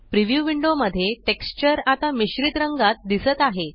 preview window मध्ये texture आता मिश्रित रंगात दिसत आहे